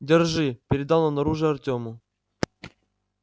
держи передал он оружие артему